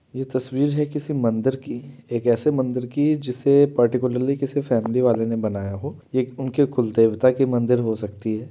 यह तस्वीर है किसी मंदिर की एक ऐसे मंदिर की जिसे पर्टिक्यूलरी किसी फैमिली वाले ने बनाया हो यह उनके कुल देवता की मंदिर हो सकती है।